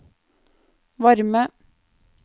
varme